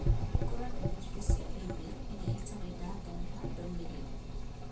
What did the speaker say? Hingũra ndũmĩrĩri cia e-mai ĩrĩa ĩtarĩ ndathoma ndũmĩrĩri